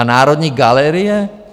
A Národní galerie?